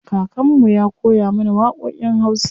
Kakan mu ya koya mana waƙoƙin wasa.